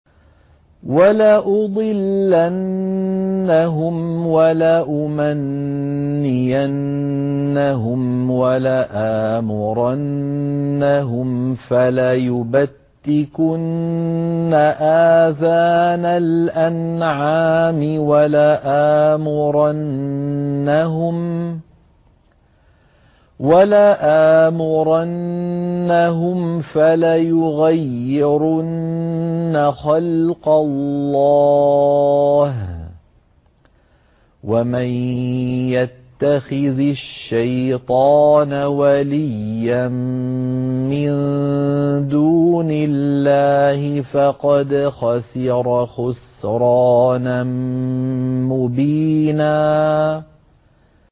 وَلَأُضِلَّنَّهُمْ وَلَأُمَنِّيَنَّهُمْ وَلَآمُرَنَّهُمْ فَلَيُبَتِّكُنَّ آذَانَ الْأَنْعَامِ وَلَآمُرَنَّهُمْ فَلَيُغَيِّرُنَّ خَلْقَ اللَّهِ ۚ وَمَن يَتَّخِذِ الشَّيْطَانَ وَلِيًّا مِّن دُونِ اللَّهِ فَقَدْ خَسِرَ خُسْرَانًا مُّبِينًا